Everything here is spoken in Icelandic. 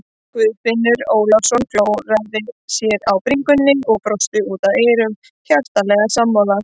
Guðfinnur Ólafsson klóraði sér á bringunni og brosti út að eyrum, hjartanlega sammála.